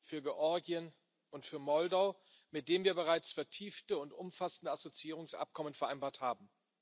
für Georgien und für Moldau, mit denen wir bereits vertiefte und umfassende Assoziierungsabkommen vereinbart haben.